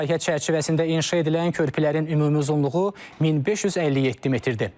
Layihə çərçivəsində inşa edilən körpülərin ümumi uzunluğu 1557 metrdir.